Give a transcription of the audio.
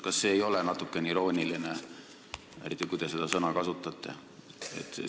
Kas see ei ole natukene irooniline, eriti kui te neid sõnu kasutate?